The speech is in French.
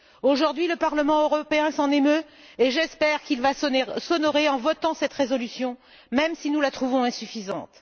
Aujourd'hui, le Parlement européen s'en émeut et j'espère qu'il va s'honorer en votant cette résolution, même si nous la trouvons insuffisante.